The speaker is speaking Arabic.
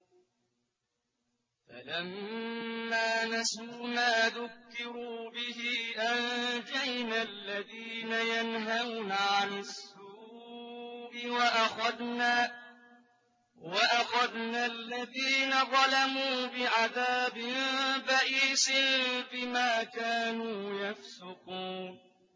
فَلَمَّا نَسُوا مَا ذُكِّرُوا بِهِ أَنجَيْنَا الَّذِينَ يَنْهَوْنَ عَنِ السُّوءِ وَأَخَذْنَا الَّذِينَ ظَلَمُوا بِعَذَابٍ بَئِيسٍ بِمَا كَانُوا يَفْسُقُونَ